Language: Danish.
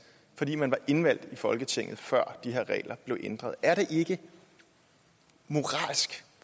fordi man var indvalgt i folketinget før de her regler blev ændret er det ikke moralsk